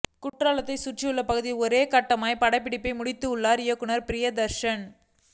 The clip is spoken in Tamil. குற்றா லத்தைச் சுற்றியுள்ள பகுதிகளில் ஒரே கட்டமாக படப்பிடிப்பை முடித் துள்ளார் இயக்குநர் பிரியதர்ஷன்